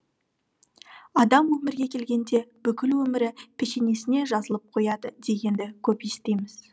адам өмірге келгенде бүкіл өмірі пешенесіне жазылып қояды дегенді көп естиміз